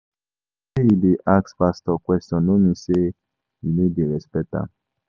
Sey you dey ask pastor question no mean sey you no dey respect am.